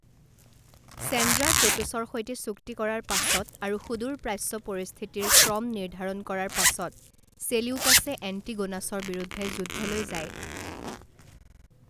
চেন্দ্ৰাকোটোছৰ সৈতে চুক্তি কৰাৰ পাছত আৰু সূদূৰ প্ৰাচ্য পৰিস্থিতিৰ ক্ৰম নিৰ্ধাৰণ কৰাৰ পাছত চেলিউকাছে এণ্টিগোনাছৰ বিৰুদ্ধে যুদ্ধলৈ যায়।